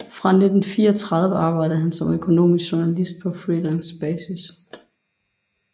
Fra 1934 arbejdede han som økonomisk journalist på freelancebasis